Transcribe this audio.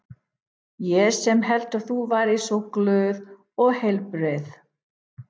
Ég sem hélt að þú væri svo glöð og heilbrigð.